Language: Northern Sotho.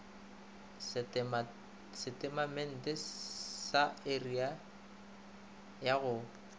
setatamente sa area ya go